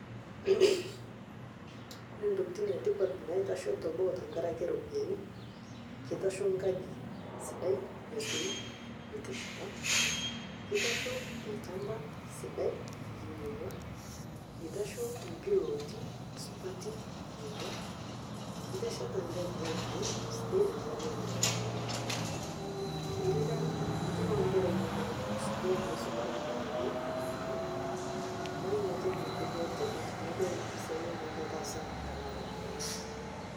Kore ntokitin etipat naitashoo teboo tenkaraki ropiyani keitasho nkaji sidai esoit nitesheta, keitasho elshamba sidai linyeg'wa, etasho mpilootia supati ninyegwa, itesheta nkae plot ino sidai tenkaraki mplooti, irika itipika nkera inono skul tenkaraki ropiyani naa niatoki ntoki etipat nidol mpisai ajo ketaasa tana ropiyani.